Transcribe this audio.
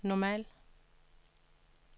normal